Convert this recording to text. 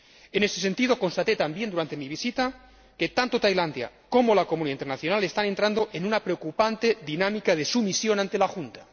En ese sentido, constaté también durante mi visita que, tanto Tailandia como la comunidad internacional, están entrando en una preocupante dinámica de sumisión ante la Junta.